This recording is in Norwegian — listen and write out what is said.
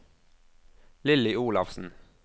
Lilly Olafsen